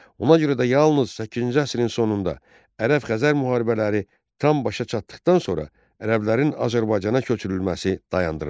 Ona görə də yalnız səkkizinci əsrin sonunda ərəb-xəzər müharibələri tam başa çatdıqdan sonra ərəblərin Azərbaycana köçürülməsi dayandırıldı.